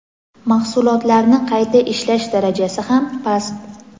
Mahsulotlarni qayta ishlash darajasi ham past.